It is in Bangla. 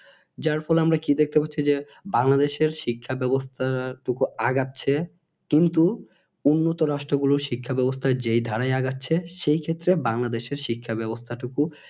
যার ফলে আমরা কি দেখতে পাচ্ছি যে বাংলাদেশের শিক্ষা ব্যবস্থাটুকু আগাচ্ছে কিন্তু উন্নত রাষ্ট্র গুলোর শিক্ষা ব্যবস্থা যে ধারাই আগাচ্ছে সেই ক্ষেত্রে বাংলাদেশের শিক্ষা ব্যবস্থাটুকু